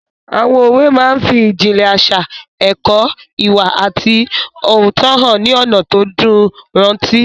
Àwọn òwe máa n fi ìjìnlẹ̀ àṣà, ẹ̀kọ́ ìwà àti òótọ́hàn ní ọ̀nà tó dùn rántí